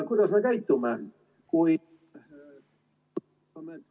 Kuidas me käitume?